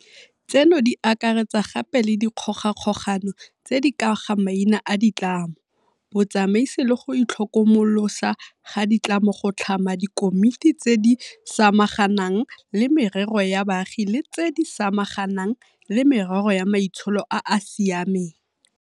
Tseno di akaretsa gape le dikgogakgogano tse di ka ga maina a ditlamo, botsamaisi le go itlhokomolosa ga di tlamo go tlhama dikomiti tse di samaganang le merero ya baagi le tse di samaganang le merero ya maitsholo a a sia meng.